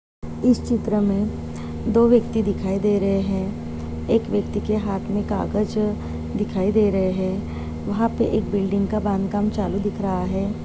इस चित्र में दो व्यक्ति दिखाई दे रहे हैं। एक व्यक्ति के हाथ में कागज दिखाई दे रहे हैं। वहां पे एक बिल्डिंग का बांध काम चालू दिख रहा हैं।